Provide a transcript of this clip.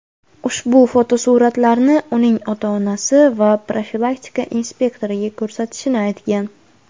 ushbu fotosuratlarni uning ota-onasi va profilaktika inspektoriga ko‘rsatishini aytgan.